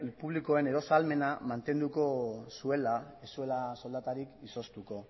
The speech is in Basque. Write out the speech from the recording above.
publikoen eros ahalmena mantenduko zuela ez zuela soldatarik izoztuko